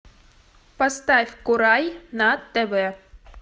поставь курай на тв